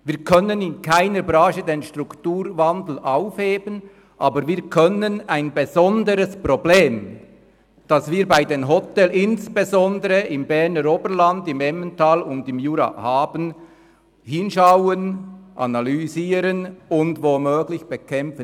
Wir können in keiner Branche den Strukturwandel aufheben, aber wir können ein besonderes Problem, das wir bei den Hotels insbesondere im Berner Oberland, im Emmental und im Jura haben, analysieren und womöglich bekämpfen.